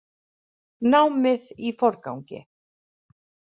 Námið í forgangi